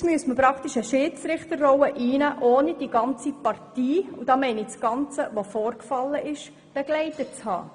Man müsste nun praktisch eine Schiedsrichterrolle einnehmen, ohne die ganze Partie mit allem Vorgefallenen begleitet zu haben.